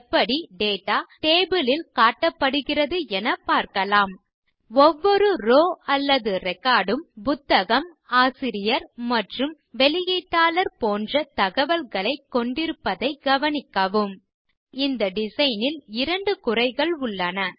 எப்படி data table லில் காட்டப்படுகிறது என பார்க்கலாம் ஒவ்வொரு ரோவ் அல்லது ரெக்கார்ட் உம் புத்தகம் ஆசியரியர் மற்றும் வெளியீட்டாளர் போன்ற தகவல்களைக் கொண்டிருப்பதைக் கவனிக்கவும் இப்போது இந்த டிசைன் ல் இரண்டு குறைகள் உள்ளன